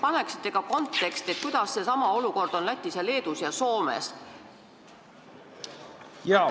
Ja ehk tutvustate ka konteksti: milline on see olukord Lätis, Leedus ja Soomes?